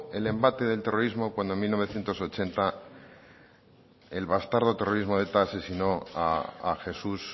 el embate del terrorismo cuando en mil novecientos ochenta el bastardo terrorismo de eta asesinó a jesús